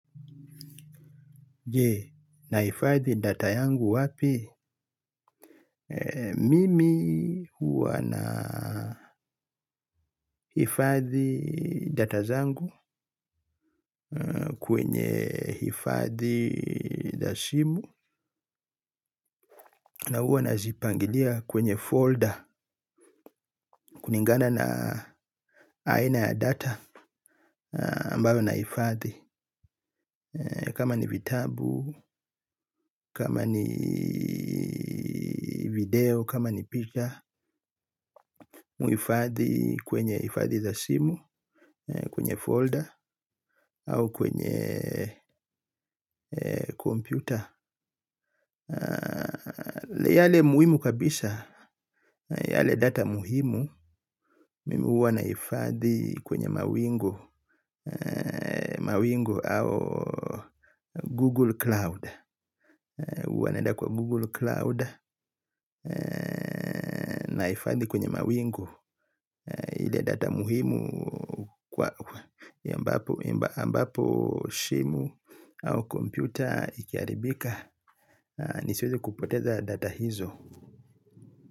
Je, naifadhi data yangu wapi? Mimi huwa naifadhi data zangu kwenye ifadhi za simu na huwa nazipangilia kwenye folder kulingana na aina ya data ambayo naifadhi kama ni vitabu, kama ni video, kama ni picture. Mimi huifadhi kwenye ifadhi za simu. Kwenye folder au kwenye yale muhimu kabisa. Yale data muhimu mimi huwa nahifadhi kwenye mawingu. Mawingu au Google Cloud huwa naeda kwa Google Cloud. Naifadhi kwenye mawingu. Ile data muhimu kwa ambapo simu au kompyuta ikiharibika nisiweze kupoteza data hizo.